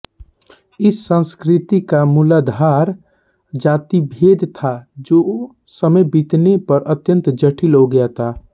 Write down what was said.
इस संस्कृति का मूलाधार जातिभेद था जो समय बीतने पर अत्यन्त जटिल हो गया था